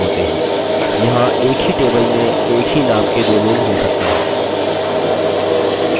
यहाँ एक ही table में एक ही name के दो लोग हो सकते हैं